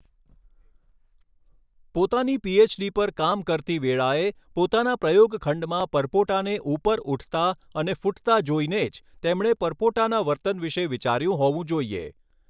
પોતાની પીએચડી પર કામ કરતી વેળાએ, પોતાના પ્રયોગ ખંડમાં પરપોટાને ઉપર ઉઠતા અને ફૂટતા જોઈને જ તેમણે પરપોટાના વર્તન વિશે વિચાર્યુ હોવું જોઈએ.